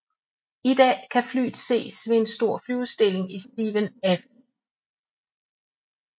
I dag kan flyet ses ved en stor flyudstilling i Steven F